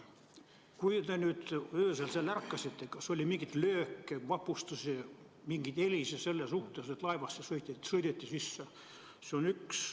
Kui te öösel ärkasite, kas oli mingit lööki, raputusi, mingeid helisid, mis viitaks, et laeva sõideti sisse?